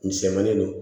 Misɛnmanin don